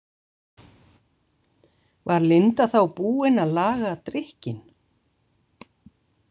Var Linda þá búin að laga drykkinn?